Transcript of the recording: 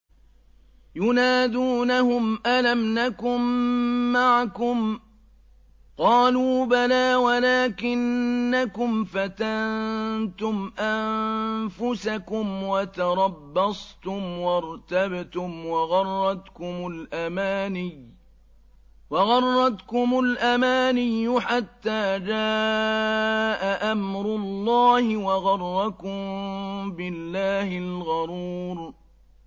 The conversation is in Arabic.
يُنَادُونَهُمْ أَلَمْ نَكُن مَّعَكُمْ ۖ قَالُوا بَلَىٰ وَلَٰكِنَّكُمْ فَتَنتُمْ أَنفُسَكُمْ وَتَرَبَّصْتُمْ وَارْتَبْتُمْ وَغَرَّتْكُمُ الْأَمَانِيُّ حَتَّىٰ جَاءَ أَمْرُ اللَّهِ وَغَرَّكُم بِاللَّهِ الْغَرُورُ